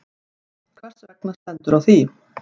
Hvers vegna stendur á því?